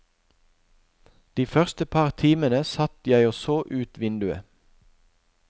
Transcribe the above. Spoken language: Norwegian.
De første par timene satt jeg og så ut vinduet.